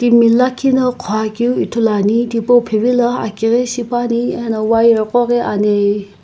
timi lakhi no ghokeu ithulu ane thipo phivilo aki gho shipaepane ano wire ko ghi ane.